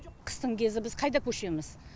қыстың кезі біз қайда көшеміз